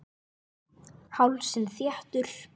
Hálsinn þéttur.